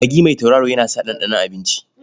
Magi mai tauraro yana sa ɗanɗanon abinci.